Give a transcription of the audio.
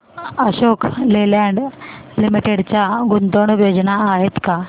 Ashok Leyland Limited च्या गुंतवणूक योजना आहेत का